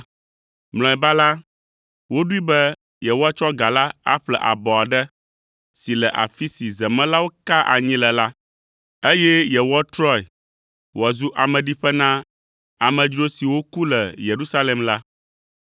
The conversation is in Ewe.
Mlɔeba la, woɖoe be yewoatsɔ ga la aƒle abɔ aɖe si le afi si zemelawo kaa anyi le la, eye yewoatrɔe wòazu ameɖiƒe na amedzro siwo ku le Yerusalem la.